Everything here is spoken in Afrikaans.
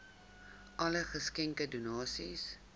alle geskenke donasies